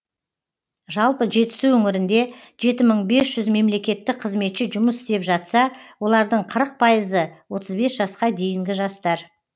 жалпы жетісу өңірінде жеті мың бес жүз мемлекеттік қызметші жұмыс істеп жатса олардың қырық пайызы отыз бес жасқа дейінгі жастар